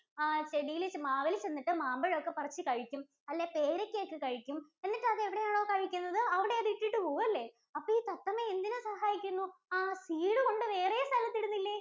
ആ ചെടീല് മാവില് ചെന്നിട്ട് മാമ്പഴം ഒക്കെ പറിച്ച് കഴിക്കും. അല്ലേ? പേരക്ക ഒക്കെ കഴിക്കും എന്നിട്ട് അത് എവിടെയാണോ കഴിക്കുന്നത് അവിടെ അത് ഇട്ടിട്ട് പോവും അല്ലേ? അപ്പൊ ഈ തത്തമ്മ എന്തിനു സഹായിക്കുന്നു ആഹ് seed കൊണ്ട് വേറെ സ്ഥലത്ത് ഇടുന്നില്ലേ?